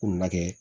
Ko na kɛ